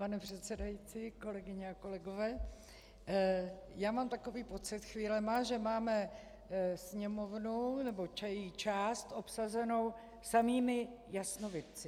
Pane předsedající, kolegyně a kolegové, já mám takový pocit chvílemi, že máme Sněmovnu nebo její část obsazenou samými jasnovidci.